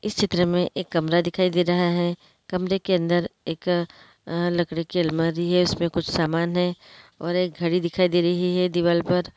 इस चित्र मैं एक कमरा दिखाई दे रहा है कमरे के अंदर एक लकड़ी की अलमारी है इसमें कुछ सामन है और एक घडी दिखाई दे रही है दीवाल पर।